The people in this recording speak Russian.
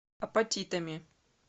апатитами